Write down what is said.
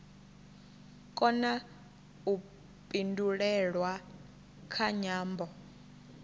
kona u pindulelwa kha nyambo